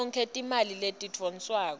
tonkhe timali letidvonswako